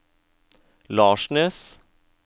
Larsnes